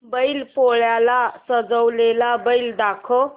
बैल पोळ्याला सजवलेला बैल दाखव